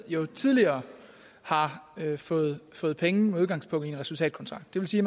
jo tidligere har fået fået penge med udgangspunkt i en resultatkontrakt det vil sige